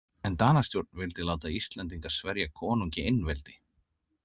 En Danastjórn vildi láta Íslendinga sverja konungi einveldi.